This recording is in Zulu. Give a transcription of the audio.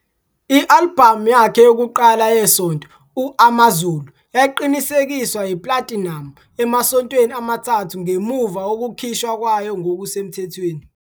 I-albhamu yakhe yokuqala yesonto uAmazulu yaqinisekiswa iplatinamu emasontweni amathathu ngemuva kokukhishwa kwayo ngokusemthethweni.